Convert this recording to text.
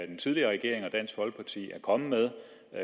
den tidligere regering og dansk folkeparti er kommet med